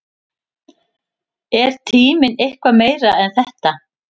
Er tíminn eitthvað meira en þetta?